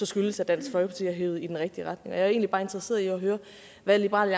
skyldes at dansk folkeparti har hevet i den rigtige retning jeg er egentlig bare interesseret i at høre hvad liberal